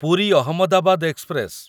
Puri Ahmedabad express